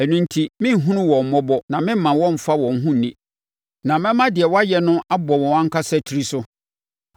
Ɛno enti, merenhunu wɔn mmɔbɔ na meremma wɔmmfa wɔn ho nni, na mɛma deɛ wɔayɛ no abɔ wɔn ankasa tiri so.”